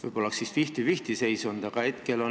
Võib-olla oleks fifty-fifty seis olnud?